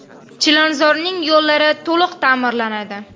Chilonzorning yo‘llari to‘liq ta’mirlanadi .